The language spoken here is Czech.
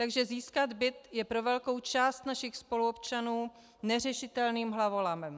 Takže získat byt je pro velkou část našich spoluobčanů neřešitelným hlavolamem.